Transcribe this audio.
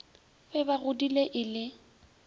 be ba godile e le